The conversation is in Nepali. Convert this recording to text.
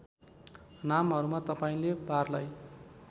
नामहरूमा तपाईँले बारलाई